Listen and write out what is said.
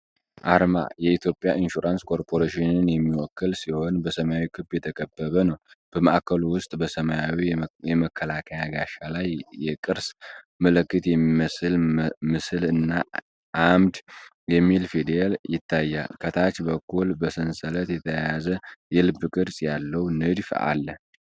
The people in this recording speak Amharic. አርማ የኢትዮጵያ ኢንሹራንስ ኮርፖሬሽንን የሚወክል ሲሆን፣ በሰማያዊ ክብ የተከበበ ነው። በማዕከሉ ውስጥ በሰማያዊ የመከላከያ ጋሻ ላይ የቅርስ ምልክት የሚመስል ምስል እና "ኢምድ" የሚል ፊደል ይታያል። ከታች በኩል በሰንሰለት የተያያዘ የልብ ቅርጽ ያለው ንድፍ አለ።